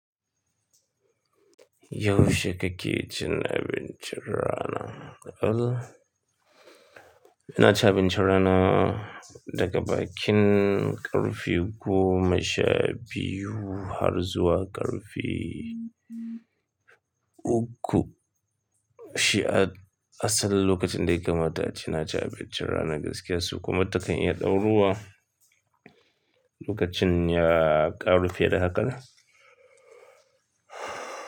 Yaushe kake cin abinci rana? Ina cin abinci rana daga bakin ƙarfe goma sha biyu har zuwa ƙarfe uku. Shi asalin lokacin da ya kamata ace naci abincin rana gaskiya su kuma takan iya kai ɗaurowa lokacin ya ƙarfe da hakan.